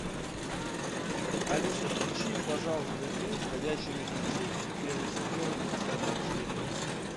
алиса включи пожалуйста фильм ходячие мертвецы первый сезон десятая серия